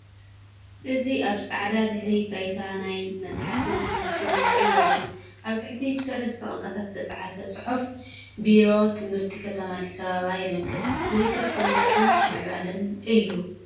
እዚ ኣብ ጻዕዳ ድሕረ ባይታ ናይ መጽሓፍን ትምህርትን ምስሊ ይርአ። ኣብ ታሕቲ ብሰለስተ ቋንቋታት ዝተጻሕፈ ጽሑፍ ቢሮ ትምህርቲ ከተማ ኣዲስ ኣበባ የመልክት። ምልክት ትምህርትን ምዕባለን እዩ።